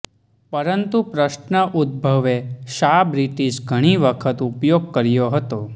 પરંતુ પ્રશ્ન ઉદભવે શા બ્રિટિશ ઘણી વખત ઉપયોગ કર્યો હતો